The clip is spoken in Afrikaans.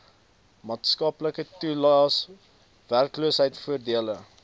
maatskaplike toelaes werkloosheidvoordele